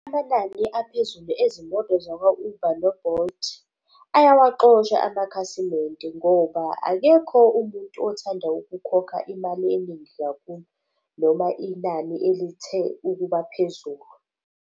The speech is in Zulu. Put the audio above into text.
Amanani aphezulu ezimoto zakwa-Uber no-Bolt, ayawaxosha amakhasimende ngoba akekho umuntu othanda ukukhokha imali eningi kakhulu noma inani elithe ukuba phezulu.